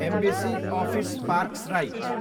embassy office parks right